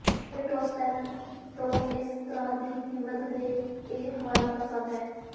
ਮੈਨੂੰ ਟੌਸ ਪੇਨ ਤੋਂ ਇਸ ਤਰ੍ਹਾਂ ਦੀ ਹਿੰਮਤ ਤੇ ਇਹ ਹਵਾਲਾ ਪਸੰਦ ਹੈ